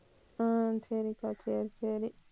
அஹ் சரிக்கா சரி சரி